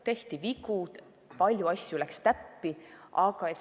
Tehti vigu, aga palju asju läks ka täppi.